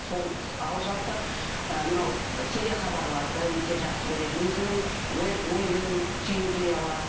сол ал жалпы ы мынау телехабарларды өте жақсы көреді өзінің ойын түйіндей алады